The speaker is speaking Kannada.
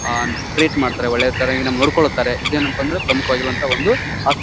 ಆಹ್ಹ್ ಟ್ರೀಟ್ ಮಾಡ್ತಾರೆ ಒಳ್ಳೆ ಚೆನ್ನಾಗಿ ನೋಡ್ಕೊಂತಾರೆ ಇದೆನಪ್ಪ ಅಂದ್ರೆ ಪ್ರಮುಖವಾಗಿರುವಂತಹ ಒಂದು ಆಸ್ಪ --